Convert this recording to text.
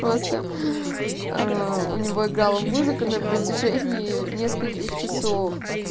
просто у него играла музыка на протяжении нескольких часов